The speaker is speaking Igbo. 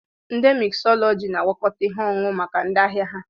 Ndi miksọlọgiisti na-agwakọta ihe ọṅụṅụ maka ndị ahịa ha.